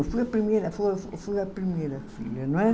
Eu fui a primeira, foi eu fui a primeira filha, não é?